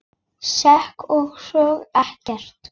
Sekk ég einsog ekkert.